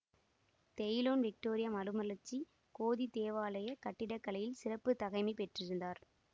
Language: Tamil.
தெயுலோன் விக்டோரிய மறுமலர்ச்சி கோதிக் தேவாலயக் கட்டிடக்கலையில் சிறப்பு தகைமை பெற்றிருந்தார்